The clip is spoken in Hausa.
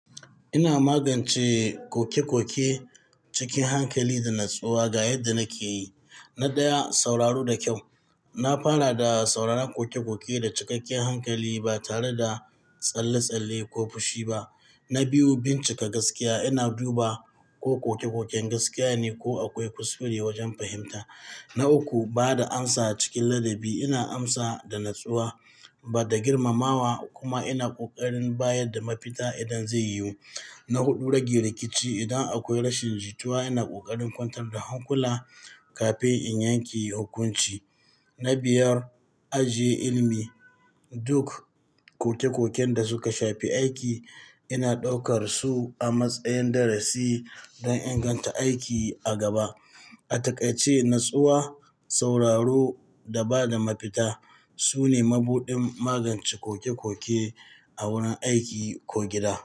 Ina magance koke-koke cikin hankali da natsuwa ga yadda nake yi. Na ɗaya, sauraro da kyau. Na fara da sauraron koke-koke da cikakken hankali ba tare da tsalle-tsalle ko fushi ba. Na biyu, bincika gaskiya. Ina duba ko koke-koken gaskiya ne ko akwai kuskure wajen fahimta. Na uku, ba da amsa cikin ladabi. Ina amsa da natsuwa ba da girmamawa kuma ina ƙoƙarin bayar da mafita idan zai yiwu. Na huɗu, rage rikici. Idan akwai rashin jituwa, ina ƙoƙarin kwantar da hankula kafin in yanke hukunci. Na biyar, ajiye ilimi. Duk koke-koken da suka shafi aiki, ina ɗaukar su a matsayin darasi don inganta aiki a gaba. A takaice, natsuwa, sauraro da ba da mafita su ne mabuɗin magance koke-koke a wurin aiki ko gida.